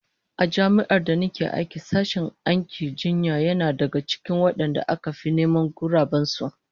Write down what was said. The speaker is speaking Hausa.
A Jami'ar da nake aiki sashen aikin jinya yana daga cikin wadanda aka fi neman guraben su